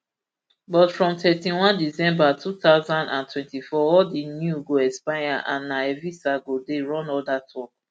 but from thirty-one december two thousand and twenty-four all di new brps go expire and na evisa go dey run all dat work